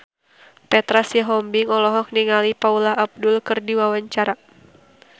Petra Sihombing olohok ningali Paula Abdul keur diwawancara